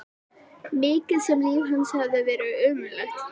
Mikið sem líf hans hafði verið ömurlegt.